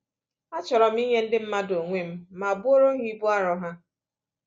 Achọrọ m inye ndị mmadụ onwe m ma buoro ha ibu arọ ha.